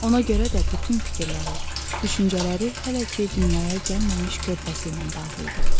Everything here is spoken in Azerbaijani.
Ona görə də bütün fikirləri, düşüncələri hələ ki dünyaya gəlməmiş körpəsi ilə bağlı idi.